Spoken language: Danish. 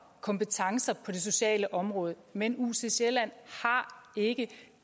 kompetencer på det sociale område men ucsj har ikke